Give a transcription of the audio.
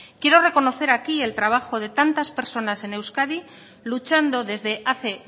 quiero reconocer aquí el trabajo de tantas personas en euskadi luchando desde hace